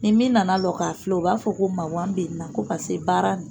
Ni min nana lɔ k'a filɛ o b'a fɔ ko magan bɛ n na ko pase baara in